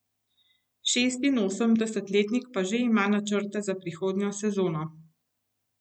Šestinosemdesetletnik pa že ima načrte za prihodnjo sezono.